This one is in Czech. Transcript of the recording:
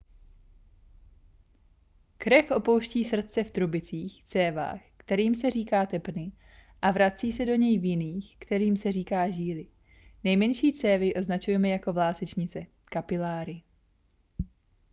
krev opouští srdce v trubicích cévách kterým se říká tepny a vrací se do něj v jiných kterým se říká žíly. nejmenší cévy označujeme jako vlásečnice kapiláry